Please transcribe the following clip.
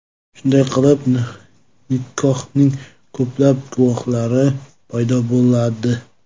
Shunday qilib nikohning ko‘plab guvohlari paydo bo‘ladi.